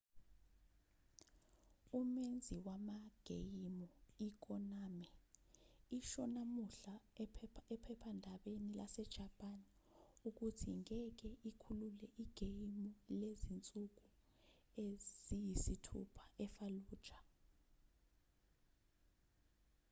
umenzi wamageyimu ikonami isho namuhla ephephandabeni lasejapani ukuthi ngeke ikhulule igeyimu lezinsuku eziyisithupha efallujah